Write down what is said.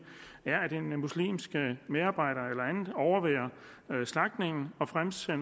er at en muslimsk medarbejder eller andet overværer slagtningen og fremsiger